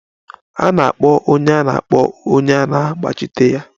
A na-akpọ onye a na-akpọ onye na-agbachitere ya.